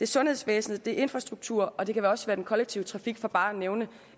sundhedsvæsenet det er infrastrukturen og det kan også være den kollektive trafik for bare at nævne